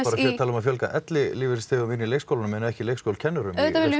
að fjölga ellilífeyrisþegum inn í leikskólana en ekki leikskólakennurum auðvitað viljum